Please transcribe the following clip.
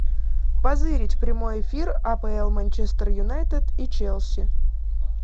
позырить прямой эфир апл манчестер юнайтед и челси